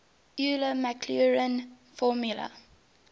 euler maclaurin formula